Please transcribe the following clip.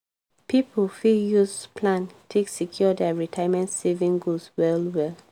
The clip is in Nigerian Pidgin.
people fit use plan take secure dia retirement saving goals well well